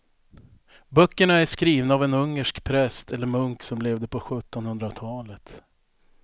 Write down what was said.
Böckerna är skrivna av en ungersk präst eller munk som levde på sjuttonhundratalet.